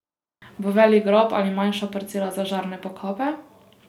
Bo velik grob ali manjša parcela za žarne pokope?